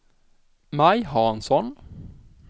Maj Hansson